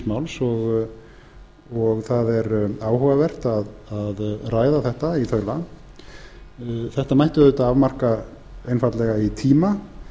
máls og það er áhugavert að ræða þetta í þaula þetta mætti auðvitað afmarka einfaldlega í tíma